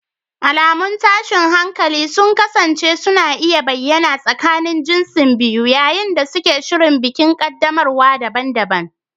Alamun tashin hankali sun kasance suna iya bayyana a tsakanin jinsin biyu yayin da suke shirin bikin qaddamarwa daban-daban.